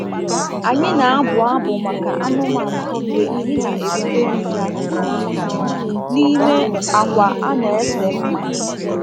Anyị na-abụ abụ maka anụmanụ mgbe anyị na-eburu nri ha n’ime akwa a na-ese mma.